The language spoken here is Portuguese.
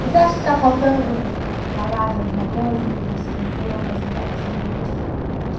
Você acha que está faltando falar de alguma coisa que a gente esqueceu, passou batido?